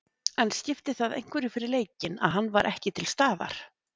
En skipti það einhverju fyrir leikinn að hann var ekki til staðar?